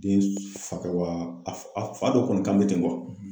Den fa wa a fa dɔ kɔni ka bɛ ten